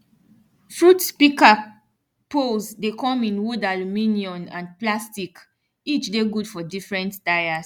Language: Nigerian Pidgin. fruit pika poles dey come in wood aluminium and plasticeach dey gud for different tires